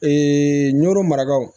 nɔrɔ maragaw